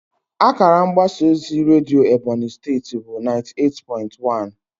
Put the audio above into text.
Akara mgbasa ozi redio Ebonyi State bụ naiti eight pointi wan